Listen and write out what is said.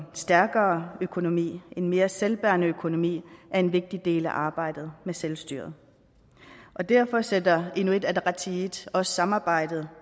stærkere økonomi en mere selvbærende økonomi er en vigtig del af arbejdet med selvstyret derfor sætter inuit ataqatigiit også samarbejdet